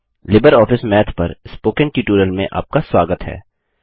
Libre office Math पर spoken tutorial में आपका स्वागत है